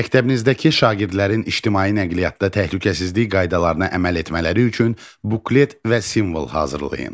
Məktəbinizdəki şagirdlərin ictimai nəqliyyatda təhlükəsizlik qaydalarına əməl etmələri üçün buklet və simvol hazırlayın.